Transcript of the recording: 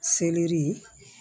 Selɛri